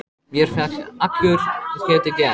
Mér féll allur ketill í eld.